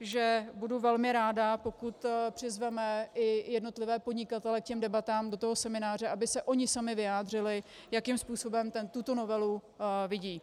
že budu velmi ráda, pokud přizveme i jednotlivé podnikatele k těm debatám do toho semináře, aby se oni sami vyjádřili, jakým způsobem tuto novelu vidí.